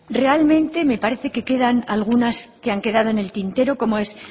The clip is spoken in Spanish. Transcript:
realmente me parece que quedan algunas que han quedado en el tintero como es